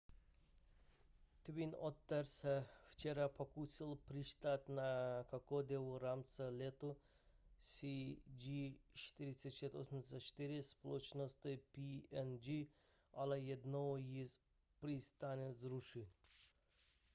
twin otter se včera pokusil přistát na kokodě v rámci letu cg4684 společnosti png ale jednou již přistání zrušil